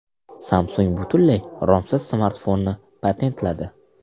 Samsung butunlay romsiz smartfonni patentladi.